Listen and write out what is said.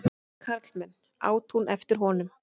Karlmenn! át hún eftir honum.